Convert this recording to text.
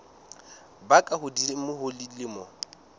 ba ka hodimo ho dilemo